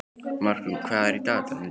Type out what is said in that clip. Markrún, hvað er í dagatalinu í dag?